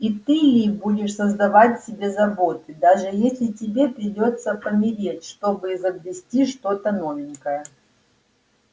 и ты ли будешь создавать себе заботы даже если тебе придётся помереть чтобы изобрести что-то новенькое